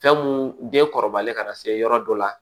Fɛn mun den kɔrɔbalen ka na se yɔrɔ dɔ la